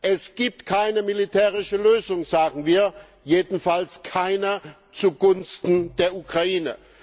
Es gibt keine militärische Lösung, sagen wir, jedenfalls keine zugunsten der Ukraine.